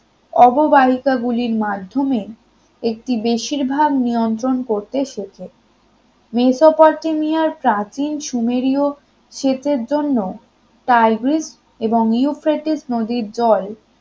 অববাহিকা গুলির মাধ্যমে একটি বেশিরভাগ নিয়ন্ত্রণ করতে শেখে মেসোপটেমিয়ার প্রাচীন সুমেরীয় সেচের জন্য টাইগ্রিস এবং ইউফ্রেটিস নদীর জল